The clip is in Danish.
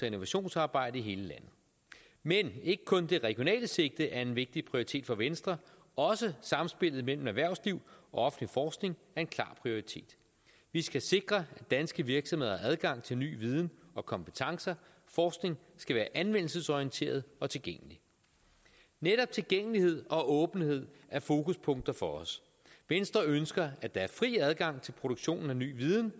innovationsarbejde i hele landet men ikke kun det regionale sigte er en vigtig prioritet for venstre også samspillet mellem erhvervsliv og offentlig forskning er en klar prioritet vi skal sikre at danske virksomheder har adgang til ny viden og kompetencer forskning skal være anvendelsesorienteret og tilgængelig netop tilgængelighed og åbenhed er fokuspunkter for os venstre ønsker at der er fri adgang til produktionen af ny viden